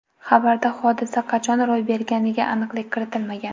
Xabarda hodisa qachon ro‘y berganiga aniqlik kiritilmagan.